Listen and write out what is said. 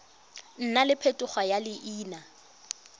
nna le phetogo ya leina